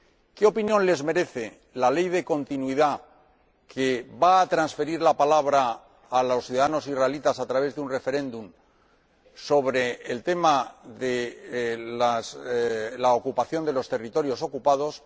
¿Qué opinión les merece la ley de continuidad que va a transferir la palabra a los ciudadanos israelíes a través de un referéndum sobre el tema de la ocupación de los territorios ocupados?